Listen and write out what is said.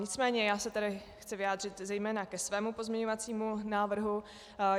Nicméně já se tady chci vyjádřit zejména ke svému pozměňovacímu návrhu.